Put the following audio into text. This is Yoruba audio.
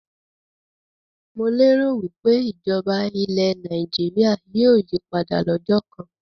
Mo lé ro wípé ìjọba ilẹ̀ Nàìjíríà yìí ó yí padà lọ́jọ́ kán